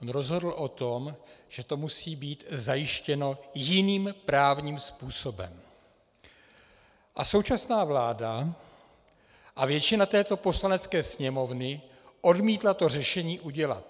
On rozhodl o tom, že to musí být zajištěno jiným právním způsobem, a současná vláda a většina této Poslanecké sněmovny odmítla to řešení udělat.